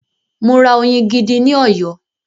Mo ra oyin gidi ní Ọ̀yọ́.